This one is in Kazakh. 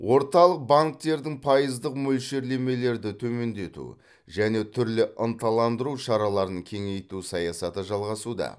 орталық банктердің пайыздық мөлшерлемелерді төмендету және түрлі ынталандыру шараларын кеңейту саясаты жалғасуда